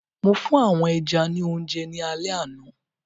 Mo fún àwọn ẹja ní oúnjẹ ní alẹ àná.